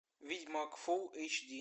ведьмак фулл эйч ди